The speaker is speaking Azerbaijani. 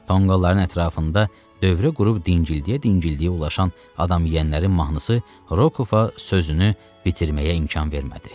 Tonqolların ətrafında dövrə qurub dingildiyə-dingildiyə ulaşan adam yeyənlərin mahnısı Rokova sözünü bitirməyə imkan vermədi.